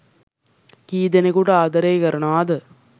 කී ‌දෙ‌නෙකුට ආද‌රේ කරනවද